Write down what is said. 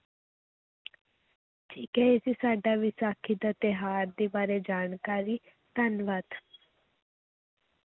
ਠੀਕ ਹੈ ਇਹ ਸੀ ਸਾਡਾ ਵਿਸਾਖੀ ਦਾ ਤਿਉਹਾਰ ਦੇ ਬਾਰੇ ਜਾਣਕਾਰੀ, ਧੰਨਵਾਦ।